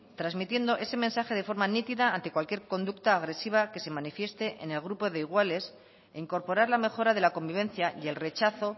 transmitiendo ese mensaje de forma nítida ante cualquier conducta agresiva que se manifieste en el grupo de iguales e incorporar la mejora de la convivencia y el rechazo